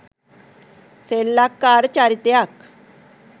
සෙල්ලක්කාර චරිතයක්